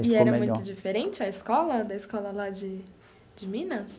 E ficou melhor. E era muito diferente a escola, da escola lá de de Minas?